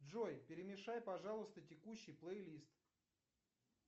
джой перемешай пожалуйста текущий плей лист